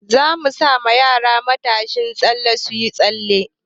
Za mu sa ma yara matashin tsalle su yi tsalle.